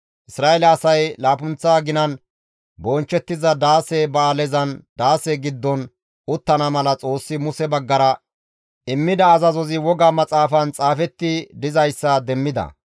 Isra7eele asay laappunththa aginan bonchchettiza daase ba7aalezan daase giddon uttana mala Xoossi Muse baggara immida azazozi woga maxaafan xaafetti dizayssa demmida.